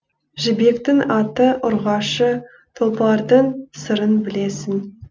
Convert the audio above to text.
жібектің аты ұрғашы тұлпардың сырын білесің